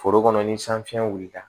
Foro kɔnɔ ni san fiɲɛ wulila